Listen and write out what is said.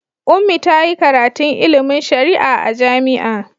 Ummi ta yi karatun ilimin shari'a a jami'a.